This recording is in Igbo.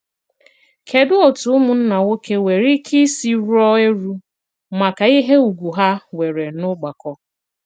Kèdù òtù ùmụ̀nnà nwoke nwere ìkè ìsì rùò èrù maka ìhé ùgwù ha nwere n'ọ̀gbàkọ?